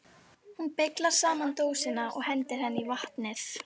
Hún beyglar saman dósina og hendir henni í vatnið.